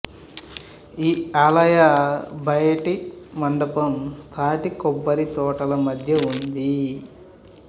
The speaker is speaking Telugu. ఈ ఆలయ బయటి మండపం తాటి కొబ్బరి తోటల మధ్య ఉంది